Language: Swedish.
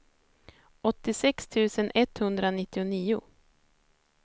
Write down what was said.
åttiosex tusen etthundranittionio